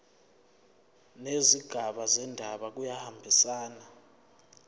nezigaba zendaba kuyahambisana